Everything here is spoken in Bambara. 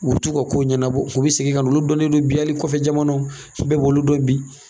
U bi t'u ka ko ɲɛnabɔ u bɛ segin ka olu dɔnnen bi hali kɔfɛ jamanaw bɛɛ b'olu dɔn bi.